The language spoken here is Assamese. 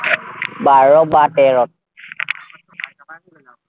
বাৰ বা তেৰত।